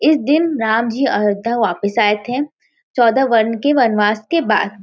इस दिन राम जी अयोध्या वापिस आए थे। चौदह वन के वनवास के बाद।